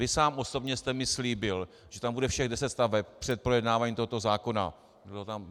Vy sám osobně jste mi slíbil, že tam bude všech deset staveb, před projednáváním tohoto zákona.